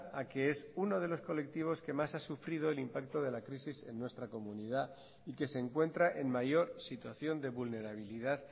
a que es uno de los colectivos que más ha sufrido el impacto de la crisis en nuestra comunidad y que se encuentra en mayor situación de vulnerabilidad